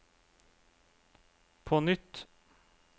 på nytt